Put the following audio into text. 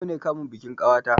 Yau ne kamun bikin ƙawata